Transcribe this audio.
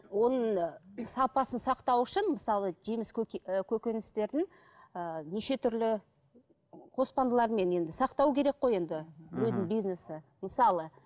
оның сапасын сақтау үшін мысалы жеміс і көкөністердің ііі неше түрлі енді сақтау керек қой енді мхм біреудің бизнесі мысалы